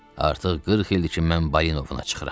Artıq 40 ildir ki, mən balina ovuna çıxıram.